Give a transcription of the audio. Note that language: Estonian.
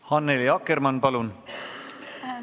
Annely Akkermann, palun!